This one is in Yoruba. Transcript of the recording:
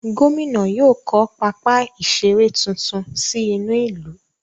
Gómìnà yóò kọ́ pápá ìseré tuntun sí inú ìlú.